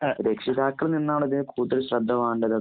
രക്ഷിതാക്കളില്‍ നിന്നാണോ ഇതിനു കൂടുതല്‍ ശ്രദ്ധ വേണ്ടത്